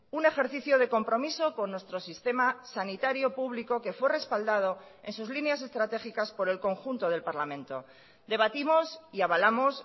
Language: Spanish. un ejercicio de compromiso con nuestro sistema sanitario público que fue respaldado en sus líneas estratégicas por el conjunto del parlamento debatimos y avalamos